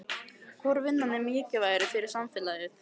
Hvor vinnan er mikilvægari fyrir samfélagið?